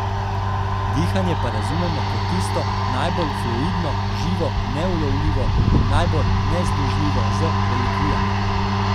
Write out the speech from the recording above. Dihanje pa razumemo kot tisto najbolj fluidno, živo, neulovljivo, najbolj nezdružljivo z relikvijami.